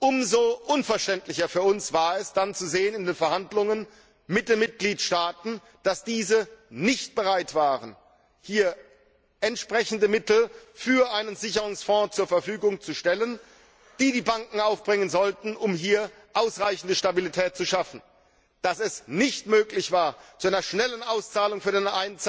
Umso unverständlicher war es für uns, in den Verhandlungen mit den Mitgliedstaaten zu sehen, dass diese nicht bereit sind, entsprechende Mittel für einen Sicherungsfonds zur Verfügung zu stellen, die die Banken aufbringen sollten, um hier ausreichende Stabilität zu schaffen, dass es nicht möglich war, zu einer schnellen Auszahlung für den